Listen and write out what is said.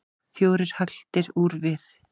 Fjórar hagldir úr við.